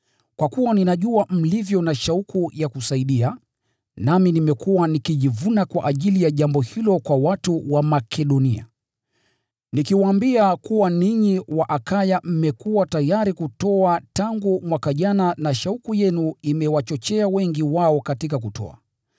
Kwa kuwa ninajua mlivyo na shauku ya kusaidia, nami nimekuwa nikijivuna kwa ajili ya jambo hilo kwa watu wa Makedonia, nikiwaambia kuwa ninyi wa Akaya mmekuwa tayari kutoa tangu mwaka jana na shauku yenu imewachochea wengi wao katika kutoa.